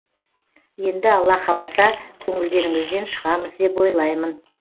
енді алла қаласа көңілдеріңізден шығамыз деп ойлаймын